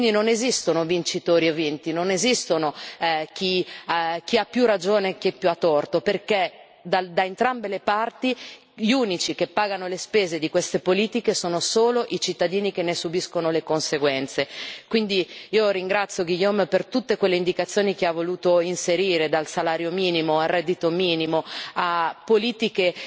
Quindi non esistono vincitori e vinti, non esiste chi ha più ragione e chi ha più torto, perché da entrambe le parti gli unici che pagano le spese di queste politiche sono i cittadini, che ne subiscono le conseguenze. Quindi io ringrazio Guillaume per tutte quelle indicazioni che ha voluto inserire dal salario minimo, al reddito minimo, a politiche